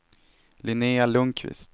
Linnéa Lundkvist